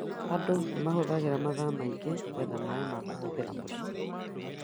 Andũ nĩ mahũthagĩra mathaa maingĩ gwetha maaĩ ma kũhũthĩra mũciĩ